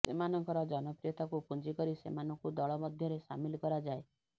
ସେମାନଙ୍କର ଜନପ୍ରିୟତାକୁ ପୁଞ୍ଜି କରି ସେମାନଙ୍କୁ ଦଳମଧ୍ୟରେ ସାମିଲ କରାଯାଏ